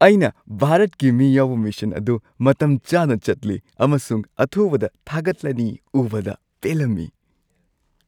ꯑꯩꯅ ꯚꯥꯔꯠꯀꯤ ꯃꯤ ꯌꯥꯎꯕ ꯃꯤꯁꯟ ꯑꯗꯨ ꯃꯇꯝ ꯆꯥꯅ ꯆꯠꯂꯤ ꯑꯃꯁꯨꯡ ꯑꯊꯨꯕꯗ ꯊꯥꯒꯠꯂꯅꯤ ꯎꯕꯗ ꯄꯦꯜꯂꯝꯃꯤ꯫